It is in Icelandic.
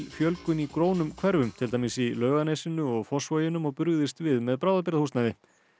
fjölgun í grónum hverfum til dæmis í Laugarnesinu og Fossvoginum og brugðist við með bráðabirgðahúsnæði